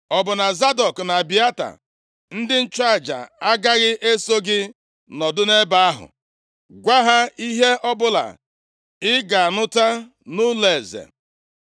Ọ bụ na Zadọk na Abịata ndị nchụaja agaghị eso gị nọdụ nʼebe ahụ? Gwa ha ihe ọbụla ị ga-anụta nʼụlọeze.